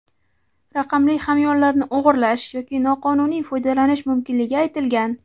raqamli hamyonlarni o‘g‘irlash yoki noqonuniy foydalanish mumkinligi aytilgan.